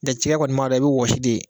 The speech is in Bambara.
N tɛ cikɛ kɔni maa dɔ i bi wɔsi de